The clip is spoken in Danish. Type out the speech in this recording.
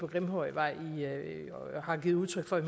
på grimhøjvej har givet udtryk for i